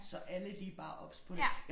Så alle de bare obs på det